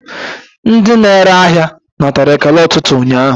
Ndị na-ere ahịa natara ekele ụtụtụ ụnyaahụ.